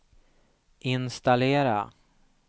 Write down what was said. installera